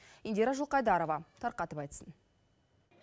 индира жылқайдарова тарқатып айтсын